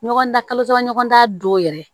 Ɲɔgɔndan kalo saba ɲɔgɔn da don yɛrɛ